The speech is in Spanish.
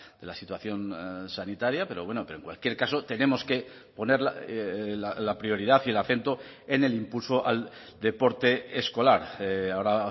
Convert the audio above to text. de la situación sanitaria pero bueno pero en cualquier caso tenemos que poner la prioridad y el acento en el impulso al deporte escolar ahora